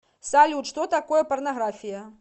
салют что такое порнография